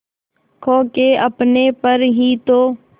खो के अपने पर ही तो